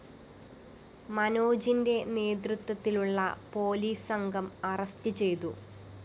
മനോജിന്റെ നേതൃത്വത്തിലുള്ള പോലീസ് സംഘം അറസ്റ്റ്‌ ചെയ്തു